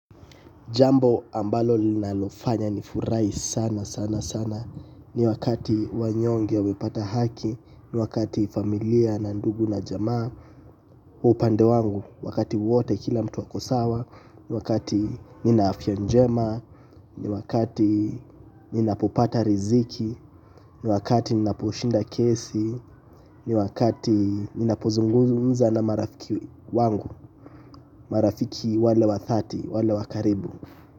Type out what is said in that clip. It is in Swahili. Jambo ambalo linalofanya nifurahi sana sana sana. Ni wakati wanyonge wamepata haki. Ni wakati familia na ndugu na jamaa kwa upande wangu wakati wote kila mtu akosawa. Ni wakati ninaafya njema. Ni wakati ninapopata riziki. Ni wakati ninaposhinda kesi. Ni wakati ninapozungumza na marafiki wangu. Marafiki wale wathati, wale wakaribu.